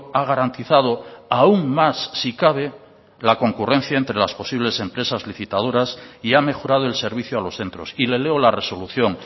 ha garantizado aún más si cabe la concurrencia entre las posibles empresas licitadoras y ha mejorado el servicio a los centros y le leo la resolución